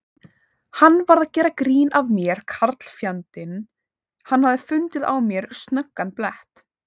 Hann var að gera grín að mér karlfjandinn, hann hafði fundið á mér snöggan blett.